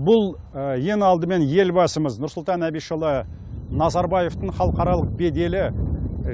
бұл ең алдымен елбасымыз нұрсұлтан әбішұлы назарбаевтың халықаралық беделі